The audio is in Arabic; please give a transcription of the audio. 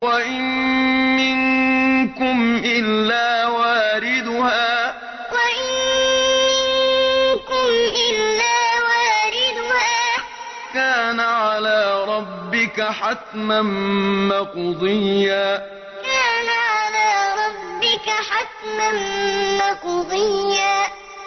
وَإِن مِّنكُمْ إِلَّا وَارِدُهَا ۚ كَانَ عَلَىٰ رَبِّكَ حَتْمًا مَّقْضِيًّا وَإِن مِّنكُمْ إِلَّا وَارِدُهَا ۚ كَانَ عَلَىٰ رَبِّكَ حَتْمًا مَّقْضِيًّا